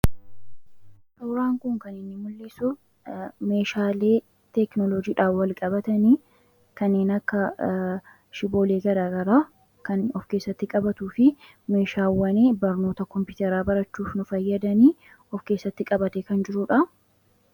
Suuraan kunniin kan inni mul'dhisuu meshallee tekinooloojiidhaan walqabatan kannen akka shibboollee gara garaa kan of-keessatti qabatufi meshawwaan barnoota Kompiteeraa barachuuf nuu faayyadan of keessatti qabatee kan jiruudha.